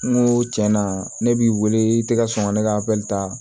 N ko tiɲɛna ne b'i wele i tɛ ka sɔn ka ne ka ta